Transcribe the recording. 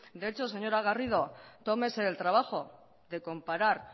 de hecho señor garrido tómese el trabajo de comparar